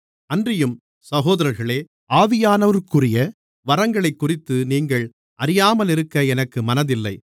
அன்றியும் சகோதரர்களே ஆவியானவருக்குரிய வரங்களைக்குறித்து நீங்கள் அறியாமலிருக்க எனக்கு மனதில்லை